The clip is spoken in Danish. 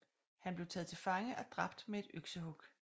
Han blev taget til fange og dræbt med et øksehug